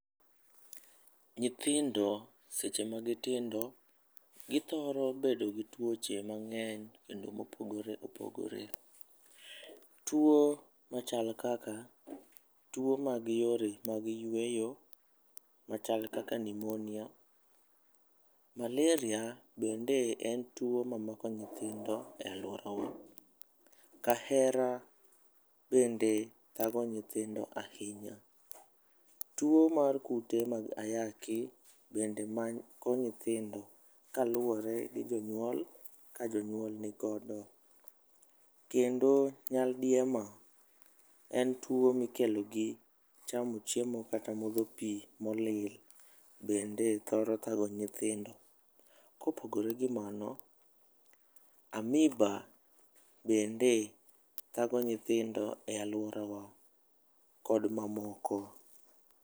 Nyithindo seche magi tindo githoro bedo gi tuoche mang'eny kendo mopogore opogore . Tuo machal kaka tuo mag yore mag yueyo machal kaka pnuemonia, malaria bende en tuo mamako nyithindo e aluorawa, kahera bende thago nyithindo ahinya. Tuo mar kute mag ayaki bende mako nyithindo kaluwore gi jonyuol ka jonyuol ni kode kendo nyadiema en tuo mikelo gi chamo chiemo kata modho pii molil bende thoro thago nyithindo . Kopogore gi mano, amiba bende thago nyithindo e aluorawa kod mamoko.